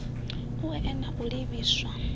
u oea na u livhiswa